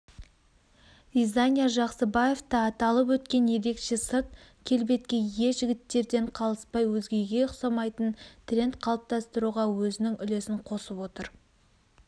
дизайнер жақсыбаев та аталып өткен ерекше сырт келбетке ие жігіттерден қалыспай өзгеге ұқсамайтын тренд қалыптастыруға өзінің үлесін қосып отыр